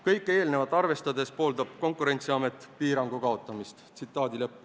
Kõike eelnevat arvestades pooldab Konkurentsiamet piirangu kaotamist.